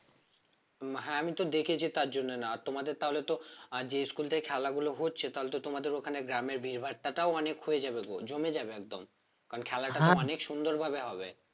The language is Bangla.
হ্যাঁ আমি তো দেখেছি তার জন্য না তোমাদের তাহলে তো আহ যে school থেকে খেলা গুলো হচ্ছে তাহলে তো তোমাদের ওখানে গ্রামে ভিড়ভাট্টাটাও অনেক হয়ে যাবে জমে যাবে একদম কারণ খেলাটা তো অনেক সুন্দর ভাবে হবে